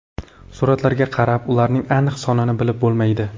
Suratlarga qarab, ularning aniq sonini bilib bo‘lmaydi.